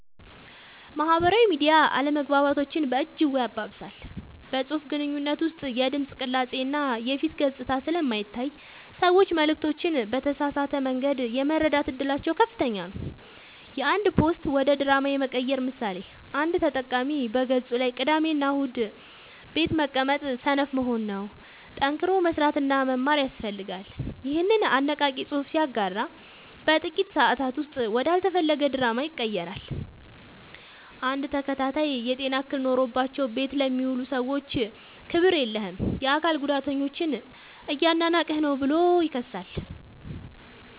ማህበራዊ ሚዲያ አለመግባባቶችን በእጅጉ ያባብሳል። በፅሁፍ ግንኙነት ውስጥ የድምፅ ቅላፄ እና የፊት ገፅታ ስለማይታይ ሰዎች መልዕክቶችን በተሳሳተ መንገድ የመረዳት እድላቸው ከፍተኛ ነው። የአንድ ፖስት ወደ ድራማ የመቀየር ምሳሌ፦ አንድ ተጠቃሚ በገፁ ላይ "ቅዳሜና እሁድ ቤት መቀመጥ ሰነፍ መሆን ነው፣ ጠንክሮ መስራትና መማር ያስፈልጋል" ይኸንን አነቃቂ ፅሑፍ ሲያጋራ በጥቂት ሰአታት ውስጥ ወደ አልተፈለገ ድራማ ይቀየራል። አንድ ተከታይ "የጤና እክል ኖሮባቸው ቤት ለሚውሉ ሰዎች ክብር የለህም! የአካል ጉዳተኞችን እያናናቅህ ነው ብሎ ይከሳል።